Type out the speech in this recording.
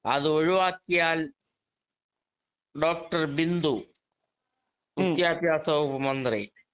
speaker 2 അതൊഴിവാക്കിയാൽ doctor Bindu വിദ്യാഭ്യാസ വകുപ്പ് മന്ത്രി